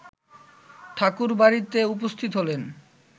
ঠাকুরবাড়িতে উপস্থিত হলেন